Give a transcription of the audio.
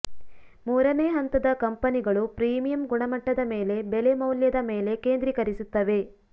ಮೂರನೇ ಹಂತದ ಕಂಪನಿಗಳು ಪ್ರೀಮಿಯಂ ಗುಣಮಟ್ಟದ ಮೇಲೆ ಬೆಲೆ ಮೌಲ್ಯದ ಮೇಲೆ ಕೇಂದ್ರೀಕರಿಸುತ್ತವೆ